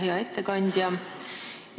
Hea ettekandja!